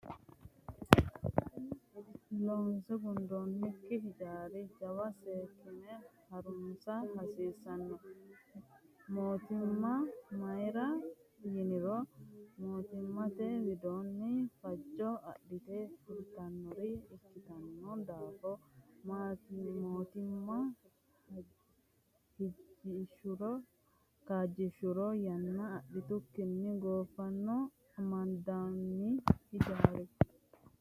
Loonse gundonnikki hijaara jawa seekkine harunsa hasiisano mootimma mayra yiniro mootimmate widooni fajo adhite fultanore ikkitino daafo mootimma kaajjishuro yanna adhikkinni goofano amandonni hijaari.